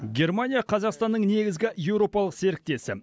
германия қазақстанның негізгі еуропалық серіктесі